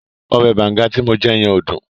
Ọbẹ̀ banga ti mo yẹn ò dùn.